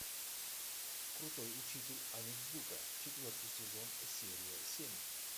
крутой учитель онидзука четвертый сезон серия семь